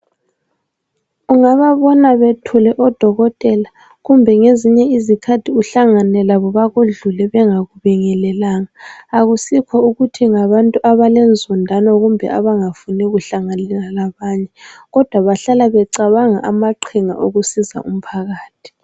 ungababona bethule odokotela kumbe ngezinye izkhathi uhlangane labo bakudlule bangakubngeleli akusikho ukuthi ngabantu abalenzondano kumbe abangafuni kuhlanganela abanye kodwa bahlala becabanga amaqhinga okusiza umphakathi